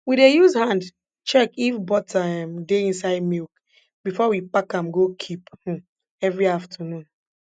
we dey use hand check if butter um dey inside milk before we pack am go keep um every afternoon